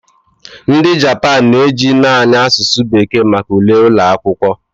Ndị Japan na-eji naanị asụsụ bekee maka ule ụlọ akwụkwọ.